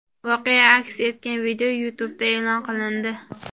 Voqea aks etgan video YouTube’da e’lon qilindi .